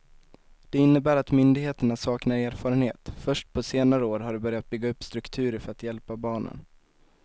Det innebär att myndigheterna saknar erfarenhet, först på senare år har de börjat bygga upp strukturer för att hjälpa barnen.